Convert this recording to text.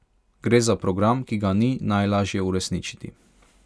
Gre za program, ki ga ni najlažje uresničiti.